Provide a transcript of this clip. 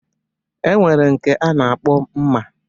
E nwere nke a na-akpọ mma.